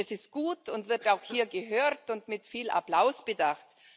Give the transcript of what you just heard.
Das ist gut und wird auch hier gehört und mit viel Applaus bedacht.